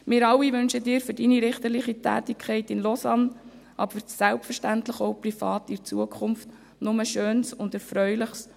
Wir alle wünschen Ihnen für Ihre richterliche Tätigkeit in Lausanne, aber selbstverständlich auch privat für die Zukunft nur Schönes und Erfreuliches.